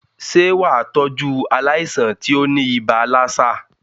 Sé wàá tọ́jú aláìsàn tí óní ibà lassa?